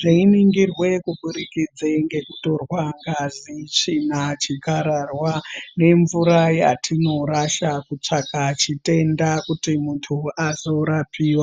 Zveingirwe kubudikidze ngekutorwe ngazi, tsvina, chikararwa nemvura yatinorasha kutsvaka chitenda kuti muntu azorapiva.